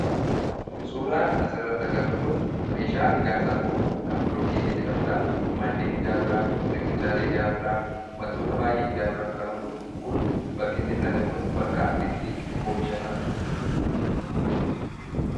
Suuraan asirratti agarru kun meeshaa ijaarsaaf oolu kan bilookkeetii jedhamu, manneen ijaaruudhaaf, riqichaalee ijaaruudhaaf, wantoota baay'ee ijaaruudhaaf kan oolu, kun bakki inni itti argamu bakka itti oomishasaadha.